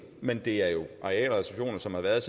men det er jo arealreservationer som har været